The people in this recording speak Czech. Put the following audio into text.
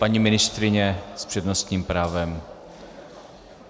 Paní ministryně s přednostním právem.